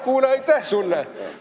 Kuule, aitäh sulle!